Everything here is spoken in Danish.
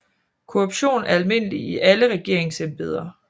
Korruption er almindelig i alle regeringsembeder